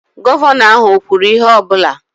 Gọvanọ ahụ o kwuru ihe ọ bụla?